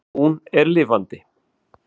Hún er lifandi.